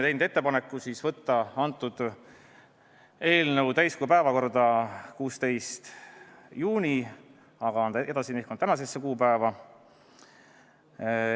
Tegime ettepaneku võtta eelnõu täiskogu päevakorda 16. juunil, aga see on edasi nihkunud tänasesse kuupäeva.